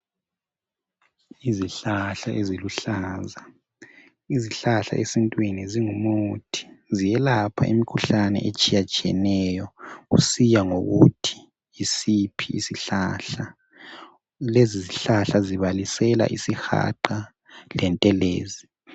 Izihlahla eziluhlaza, izihlahla esitwini zingumuthi. Ziyelapha imikhuhlane etshiyetshiyeneyo kusiya ngokuthi yisiphi isihlahla. Lezizihlahla zibalisela isihaqa lentelezi.